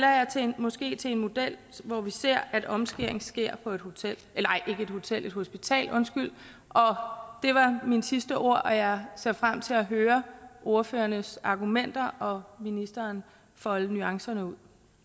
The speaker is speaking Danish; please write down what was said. måske til en model hvor vi ser at omskæring sker på et hospital det var mine sidste ord jeg ser frem til at høre ordførernes argumenter og ministeren folde nuancerne ud